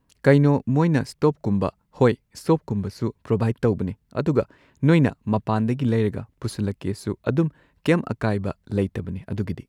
ꯀꯩꯅꯣ ꯃꯣꯏꯅ ꯁ꯭ꯇꯣꯕꯀꯨꯝꯕ ꯍꯣꯏ ꯁ꯭ꯇꯣꯕꯀꯨꯝꯕꯁꯨ ꯄ꯭ꯔꯣꯚꯥꯢꯗ ꯇꯧꯕꯅꯦ ꯑꯗꯨꯒ ꯅꯣꯏꯅ ꯃꯄꯥꯟꯗꯒꯤ ꯂꯩꯔꯒ ꯄꯨꯁꯜꯂꯛꯀꯦꯁꯨ ꯑꯗꯨꯝ ꯀꯩꯝ ꯑꯀꯥꯏꯕ ꯂꯩꯇꯕꯅꯦ ꯑꯗꯨꯒꯤꯗꯤ꯫